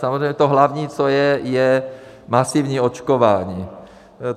Samozřejmě to hlavní, co je, je masivní očkování.